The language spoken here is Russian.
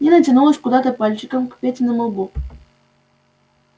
нина тянулась куда-то пальчиком к петиному лбу